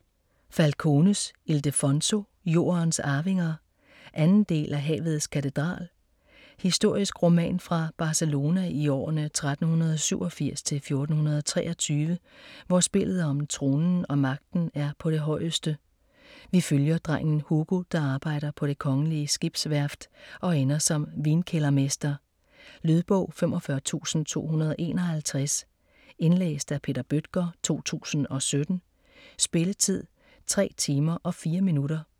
Falcones, Ildefonso: Jordens arvinger 2. del af Havets katedral. Historisk roman fra Barcelona i årene 1387-1423, hvor spillet om tronen og magten er på det højeste. Vi følger drengen Hugo, der arbejder på det kongelige skibsværft og ender som vinkældermester. Lydbog 45251 Indlæst af Peter Bøttger, 2017. Spilletid: 33 timer, 4 minutter.